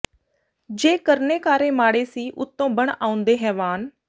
ਜੇ ਕਰਨੇ ਕਾਰੇ ਮਾੜੇ ਸੀ ਉਤੋਂ ਬਣ ਆਉਂਦੇ ਹੈਵਾਨ